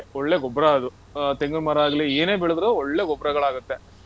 ಒಳ್ಳೆ ಗೊಬ್ರ ಅದು. ಆಹ್ ತೆಂಗು ಮರ ಆಗ್ಲಿ, ಏನೇ ಬೆಳೆದ್ರೂ ಒಳ್ಳೆ ಗೊಬ್ರಗಳಾಗತ್ತೆ.